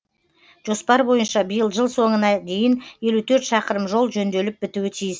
жоспар бойынша биыл жыл соңына дейін елу төрт шақырым жол жөнделіп бітуі тиіс